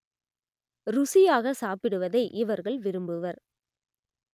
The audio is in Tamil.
ருசியாக சாப்பிடுவதை இவர்கள் விரும்புவர்